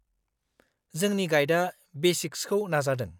-जोंनि गाइडआ बेसिक्सखौ नाजादों।